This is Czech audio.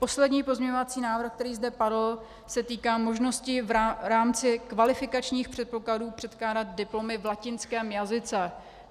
Poslední pozměňovací návrh, který zde padl, se týká možnosti v rámci kvalifikačních předpokladů předkládat diplomy v latinském jazyce.